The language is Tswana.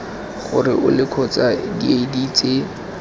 gore ole kgotsa diedi tse